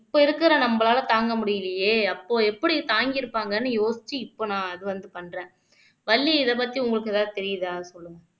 இப்ப இருக்கிற நம்மளால தாங்க முடியலயே அப்போ எப்படி தாங்கிருப்பாங்கன்னு யோசிச்சு இப்ப நான் அது வந்து பண்றேன் வள்ளி இதைப் பத்தி உங்களுக்கு ஏதாவது தெரியுதா சொல்லுங்க